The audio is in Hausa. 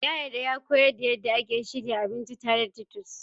Ya yarda ya koyar da yadda ake shirya abinci tare da titus.